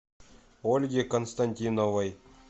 ольге константиновой